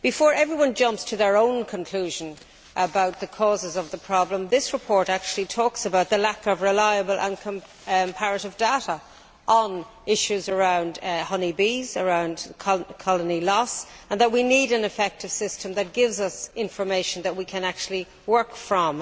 Before everyone jumps to their own conclusion about the causes of the problem, this report actually talks about the lack of reliable and comparative data on issues around honey bees and colony loss, and that we need an effective system that gives us information that we can actually work from.